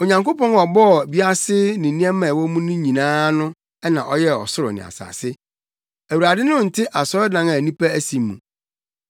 “Onyankopɔn a ɔbɔɔ wiase ne nneɛma a ɛwɔ mu nyinaa no na ɔyɛɛ ɔsoro ne asase. Awurade no nte asɔredan a nnipa asi mu.